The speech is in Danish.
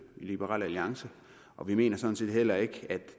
i liberal alliance og vi mener sådan set heller ikke at